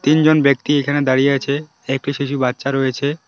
তিনজন ব্যক্তি এখানে দাঁড়িয়ে আছে একটি শিশু বাচ্চা রয়েছে।